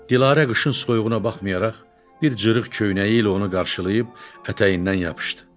Dilarə qışın soyuğuna baxmayaraq, bir cırıq köynəyi ilə onu qarşılayıb ətəyindən yapışdı.